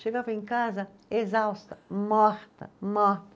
Chegava em casa exausta, morta, morta.